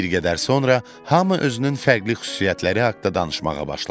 Bir qədər sonra hamı özünün fərqli xüsusiyyətləri haqqında danışmağa başladı.